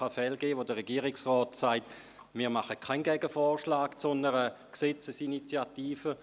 Es kann Fälle geben, wo der Regierungsrat sagt, er mache keinen Gegenvorschlag zu einer Gesetzesinitiative.